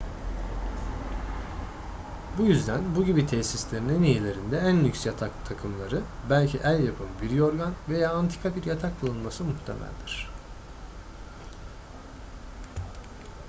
bu yüzden bu gibi tesislerin en iyilerinde en lüks yatak takımları belki el yapımı bir yorgan veya antika bir yatak bulunması muhtemeldir